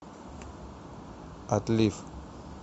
отлив